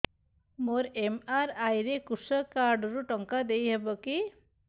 ମୋର ଏମ.ଆର.ଆଇ ରେ କୃଷକ କାର୍ଡ ରୁ ଟଙ୍କା ଦେଇ ହବ କି